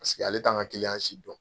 Paseke ale t'an ka si dɔn.